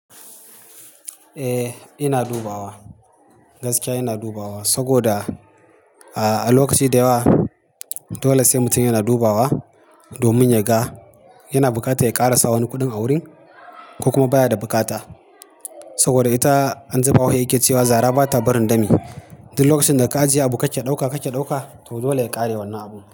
Eh, ina dubawa, gaskiya ina dubawa sagoda, ah, a lokaci da yawa, dole sai mutum yana dubawa, domin ya ga, yana bukata ya ƙara sa wani kuɗin a wurin? Ko kuma baya da bukata. Saboda ita, an ji bahauhe yake cewa zara bata barin dami. Duk lokacin da ka ajiye abu kake ɗauka kake ɗauka, to dole ya ƙare wannan abun.